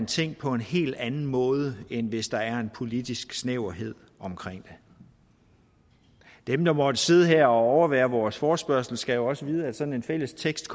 ting på en helt anden måde end hvis der er en politisk snæverhed omkring det dem der måtte sidde her og overvære vores forespørgsel skal jo også vide at sådan en fælles tekst